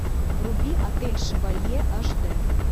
вруби отель шевалье аш дэ